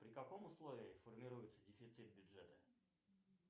при каком условии формируется дефицит бюджета